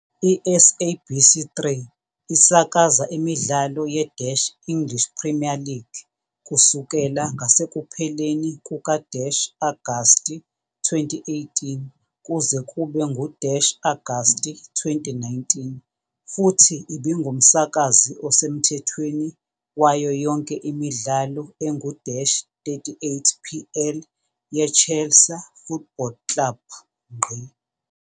ISABC3 isakaza imidlalo ye-English Premier League kusukela ngasekupheleni kuka-Agasti 2018 kuze kube ngu-Agasti 2019 futhi ibingumsakazi osemthethweni wayo yonke imidlalo engu-38 PL yeChelsea Football Club.